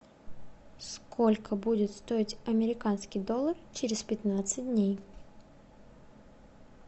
сколько будет стоить американский доллар через пятнадцать дней